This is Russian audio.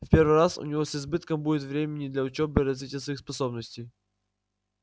в первый раз у него с избытком будет времени для учёбы и развития своих способностей